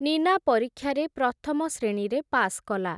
ନୀନା ପରୀକ୍ଷାରେ ପ୍ରଥମ ଶ୍ରେଣୀରେ ପାସ୍ କଲା ।